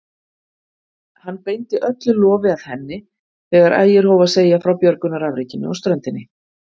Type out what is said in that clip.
Hann beindi öllu lofi að henni þegar Ægir hóf að segja frá björgunarafrekinu á ströndinni.